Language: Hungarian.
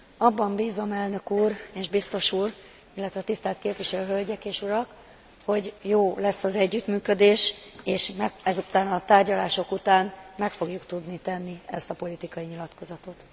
Abban bízom, Elnök úr és Biztos úr, illetve tisztelt Képviselő Hölgyek és Urak, hogy jó lesz az együttműködés, és ezután a tárgyalások után meg fogjuk tudni tenni ezt a politikai nyilatkozatot.